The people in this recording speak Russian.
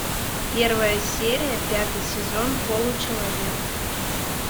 первая серия пятый сезон получеловек